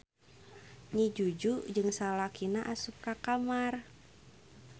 Nyi Juju jeung salakina asup ka kamar.